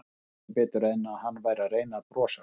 Ég sá ekki betur en að hann væri að reyna að brosa.